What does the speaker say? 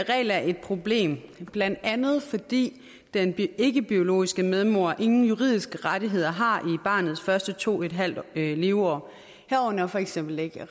regel er et problem blandt andet fordi den ikkebiologiske medmor ingen juridiske rettigheder har i barnets første to en halv leveår herunder for eksempel ikke